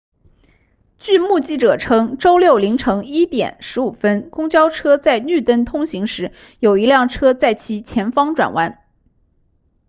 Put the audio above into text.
据目击者称周六凌晨1点15分公交车在绿灯通行时有一辆车在其前方转弯